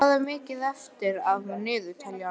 Daley, hvað er mikið eftir af niðurteljaranum?